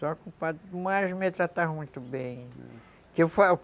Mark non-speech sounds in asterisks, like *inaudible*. Só com padres, mas me tratavam muito bem... *unintelligible*